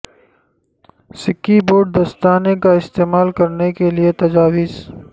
سکی بوٹ دستانے کا استعمال کرنے کے لئے تجاویز